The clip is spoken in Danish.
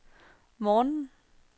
morgenen